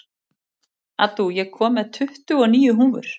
Addú, ég kom með tuttugu og níu húfur!